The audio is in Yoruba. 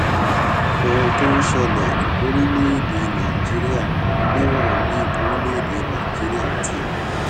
ohun tó ń ṣẹlè lórílèèdè nàìjíríà níwòn bí orílèèdè nàìjíríà ti